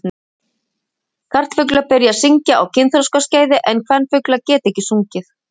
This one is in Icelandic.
karlfuglar byrja að syngja á kynþroskaskeiði en kvenfuglar geta ekki sungið